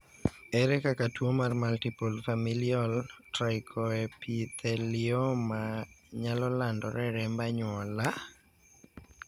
ere kaka tuo mar multiple familial trichoepithelioma nyalo landore e remb anyuola?